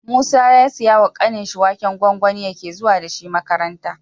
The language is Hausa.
Musa ya siya wa kanin shi waken gwangwani yake zuwa dashi makaranta